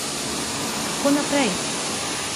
Kako naprej?